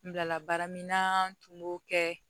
N bilala baara min na tun b'o kɛ